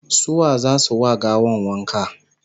su wa zasu wa gawan wanka?